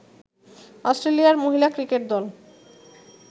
অস্ট্রেলিয়ার মহিলা ক্রিকেট দল